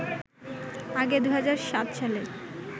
আগে ২০০৭ সালে